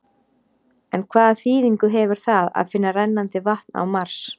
En hvaða þýðingu hefur það að finna rennandi vatn á Mars?